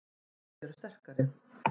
Hjálmarnir enn sterkari